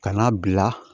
Ka n'a bila